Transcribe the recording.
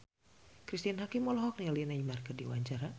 Cristine Hakim olohok ningali Neymar keur diwawancara